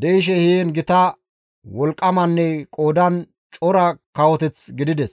de7ishe heen gita wolqqamanne qoodan cora kawoteth gidides.